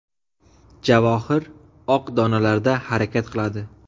Javohir oq donalarda harakat qiladi.